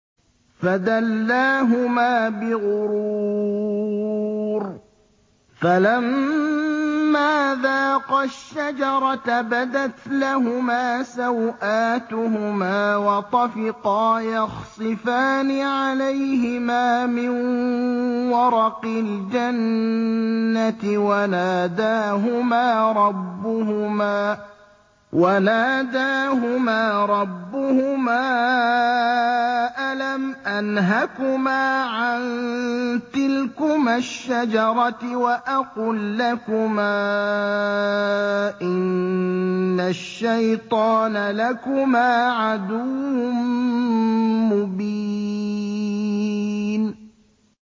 فَدَلَّاهُمَا بِغُرُورٍ ۚ فَلَمَّا ذَاقَا الشَّجَرَةَ بَدَتْ لَهُمَا سَوْآتُهُمَا وَطَفِقَا يَخْصِفَانِ عَلَيْهِمَا مِن وَرَقِ الْجَنَّةِ ۖ وَنَادَاهُمَا رَبُّهُمَا أَلَمْ أَنْهَكُمَا عَن تِلْكُمَا الشَّجَرَةِ وَأَقُل لَّكُمَا إِنَّ الشَّيْطَانَ لَكُمَا عَدُوٌّ مُّبِينٌ